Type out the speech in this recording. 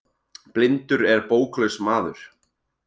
Blindur er bóklaus maður.